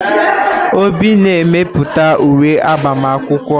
Obi na-emepụta uwe agbama akwụkwọ.